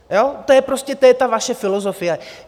To je prostě ta vaše filozofie.